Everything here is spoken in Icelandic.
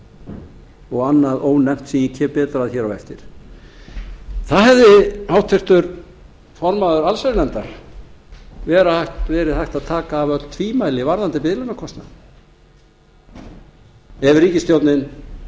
biðlaunakostnaður og annað ónefnt sem ég kem betur að hér á eftir þar hefði háttvirtur formaður allsherjarnefndar átt að taka af öll tvímæli varðandi biðlaunakostnaðinn ef ríkisstjórnin